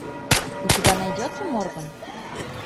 у тебя найдется морган